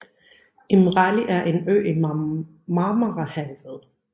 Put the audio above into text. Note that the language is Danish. Imrali er en ø i Marmarahavet